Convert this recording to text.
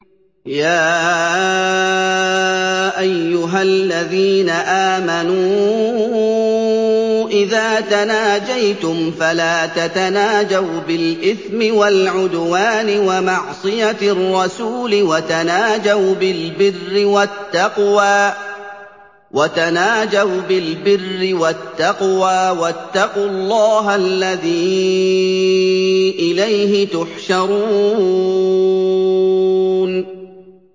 يَا أَيُّهَا الَّذِينَ آمَنُوا إِذَا تَنَاجَيْتُمْ فَلَا تَتَنَاجَوْا بِالْإِثْمِ وَالْعُدْوَانِ وَمَعْصِيَتِ الرَّسُولِ وَتَنَاجَوْا بِالْبِرِّ وَالتَّقْوَىٰ ۖ وَاتَّقُوا اللَّهَ الَّذِي إِلَيْهِ تُحْشَرُونَ